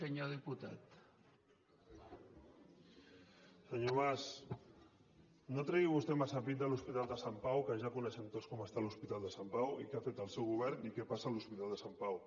senyor mas no tregui vostè massa pit de l’hospital de sant pau que ja coneixem tots com està l’hospital de sant pau i què ha fet el seu govern i què passa a l’hospital de sant pau